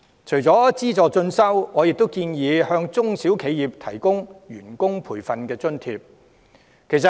除了資助進修，我亦建議向中小企提供員工培訓津貼。